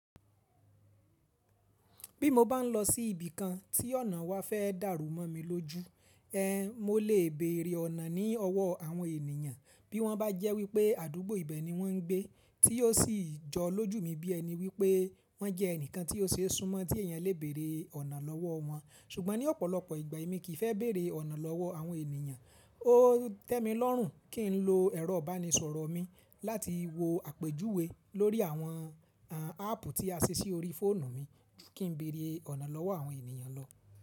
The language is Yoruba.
Bí mo bá ń lọ sí ibìkan tí ọ̀nà wa fẹ́ dàrú mọ́ mi lójú, ẹ mọ lè bèrè ọ̀nà ní ọwọ́ àwọn ènìyàn bí wọ́n bá jẹ́ wípé àdúgbò ibẹ̀ ni wọ́n ń gbé tí yóò sì jọ lójú mi bí ẹni wípé wọ́n jẹ́ ẹnìkan tí ó ṣe súnmọ́ tí èèyàn lè bèrè ọ̀nà lọ́wọ́ wọn. Ṣùgbọ́n ní ọ̀pọ̀lọpọ̀ ìgbà èmi kì í fẹ́ bèrè ọ̀nà lọ́wọ́ àwọn ènìyàn, ó tẹ́ mi lọ́rùn kí n lo ẹ̀rọ ìbánisọ̀rọ̀ mi láti wo àpèjúwe lórí àwọn áàpù tí a ṣe sí orí fóònù mi kí n bèrè ọ̀nà lọ́wọ́ àwọn ènìyàn lọ.